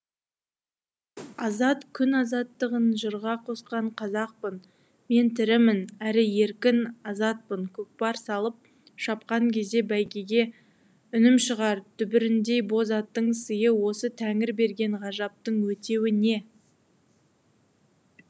азат күн азаттығын жырға қосқан қазақпын мен тірімін әрі еркін азатпын көкпар салып шапқан кезде бәйгеге үнім шығар дүбіріндей боз аттың сыйы осы тәңір берген ғажаптың өтеуі не